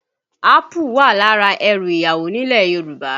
Ápù wà lára ẹrù ìyàwó nílẹ̀ Yorùbá